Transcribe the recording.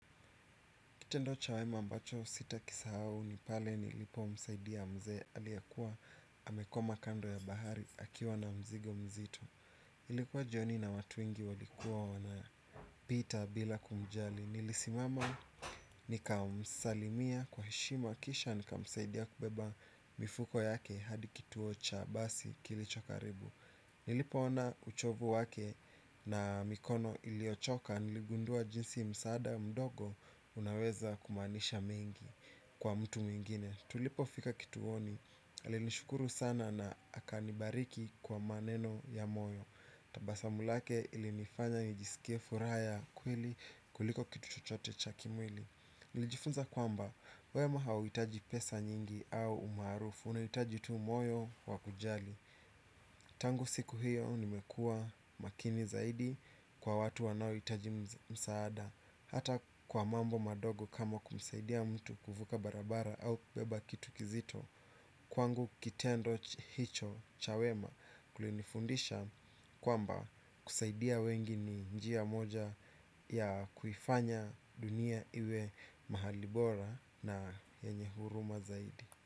Kitendo chawema ambacho sitakisa hau ni pale nilipo msaidia mzee aliyekuwa amekoma kando ya bahari akiwa na mzigo mzito. Ilikuwa jioni na watu wengi walikuwa wana pita bila kumjali. Nilisimama nikamsalimia kwa heshima kisha nikamsaidia kubeba mifuko yake hadi kituo cha basi kilicho karibu. Nilipo ona uchovu wake na mikono iliochoka niligundua jinsi msada mdogo unaweza kumanisha mengi kwa mtu mwingine. Tulipo fika kituoni, alinishukuru sana na akanibariki kwa maneno ya moyo. Tabasamu lake ilinifanya nijisikie fura ya kweli kuliko kitu chochote cha kimwili. Nilijifunza kwamba, wema hawitaji pesa nyingi au umarufu, unaitaji tu moyo wakujali. Tangu siku hiyo nimekua makini zaidi kwa watu wanaoitaji msaada. Hata kwa mambo madogo kama kumsaidia mtu kufuka barabara au kubeba kitu kizito. Kwangu kitendo hicho cha wema kulinifundisha kwamba kusaidia wengi ni njiya moja ya kufanya dunia iwe mahalibora na yenye huruma zaidi.